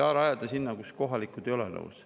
Ei saa rajada sinna, kus kohalikud ei ole nõus.